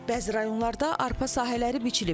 Bəzi rayonlarda arpa sahələri biçilib.